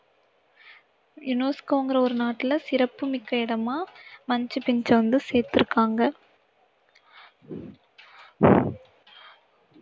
UNESCO ங்கிற ஒரு நாட்டுல சிறப்புமிக்க இடமா மச்சு பிச்சு வந்து சேர்த்திருக்காங்க